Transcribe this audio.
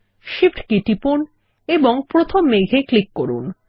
Shift key টিপুন এবং প্রথমে মেঘ এ ক্লিক করুন